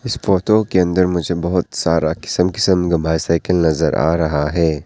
इस फोटो के अंदर मुझे बहोत सारा किसम किसम का बाइसाइकल नजर आ रहा है।